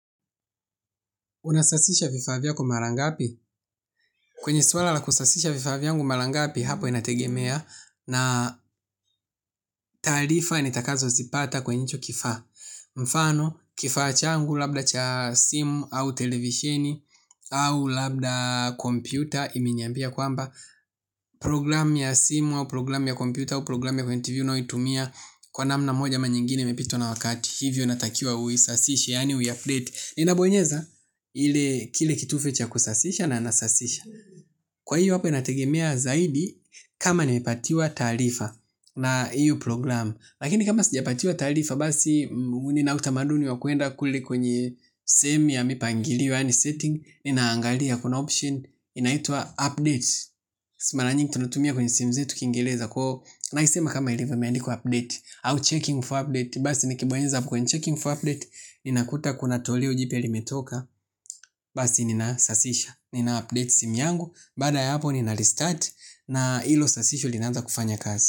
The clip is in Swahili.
Unasasisha vifaa vyako mara ngapi? Kwenye swala la kusasisha vifaa vyangu mara ngapi hapo inategemea na taarifa nitakazozipata kwenye hicho kifaa. Mfano, kifaa changu labda cha simu au televisheni au labda kompyuta imeniambia kwamba program ya simu au program ya kompyuta au program ya kwenye tv unayoitumia kwa namna moja ama nyingine imepitwa na wakati. Hivyo natakiwa uisasishe, yani uiupdate. Ninabonyeza kile kitufe cha kusasisha na anasasisha. Kwa hiyo hapa inategemea zaidi kama nimepatiwa taarifa na hiyo program. Lakini kama sijapatiwa taarifa basi nina utamaduni wa kuenda kule kwenye sehemu ya mipangilio yaani setting. Ninaangalia kuna option inaitwa update nahisi mala nyingi tunatumia kwenye simu zetu kingeleza kwaio. Naisema kama ilivyo imeandikwa update au checking for update. Basi nikibonyeza kwenye checking for update ninakuta kuna toleo jipya limetoka. Basi ninasasisha. Ninaupdate simu yangu. Baada ya hapo ninarestart. Na hilo sasisho linaanza kufanya kazi.